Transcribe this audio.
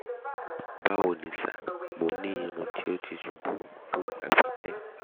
bawo sir mo ni irun ti o ti o ti ṣubu fun igba pipẹ